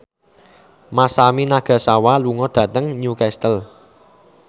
Masami Nagasawa lunga dhateng Newcastle